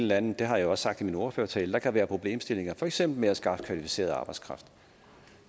landet det har jeg også sagt i min ordførertale kan være problemer for eksempel med at skaffe kvalificeret arbejdskraft